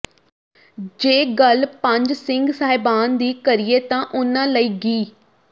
ਜੇ ਗੱਲ ਪੰਜ ਸਿੰਘ ਸਾਹਿਬਾਨ ਦੀ ਕਰੀਏ ਤਾਂ ਉਨ੍ਹਾਂ ਲਈ ਗਿ